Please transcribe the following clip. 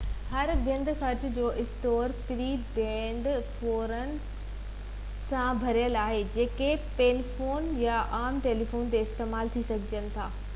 هر ڪنڊ ڪڙڇ جو اسٽور پري پيڊ فون ڪارڊن منجهيل قطار سان ڀريل آهي جيڪي پيفون يا عام ٽيليفونن تي استعمال ٿي سگهجن ٿا